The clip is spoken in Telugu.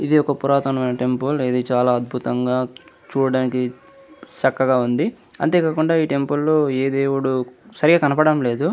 ఇది ఒక పురాతనమైన టెంపుల్ . ఇది చాలా అద్భుతంగా చూడడానికి చక్కగా ఉంది. అంతేకాకుండా ఈ టెంపుల్లో ఏ దేవుడు సరిగా కనపడం లేదు.